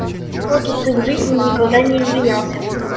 хочется в жизни никогда не извинялся